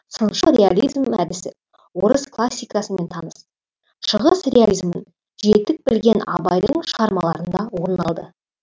сыншыл реализм әдісі орыс классикасымен таныс шығыс реализмін жетік білген абайдың шығармаларында орын алды